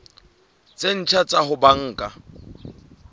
tse ntjha tsa ho banka